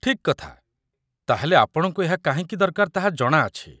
ଠିକ୍ କଥା, ତା'ହେଲେ ଆପଣଙ୍କୁ ଏହା କାହିଁକି ଦରକାର ତାହା ଜଣାଅଛି